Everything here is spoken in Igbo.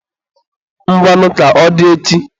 Ngwanụ ka ọ dị echi.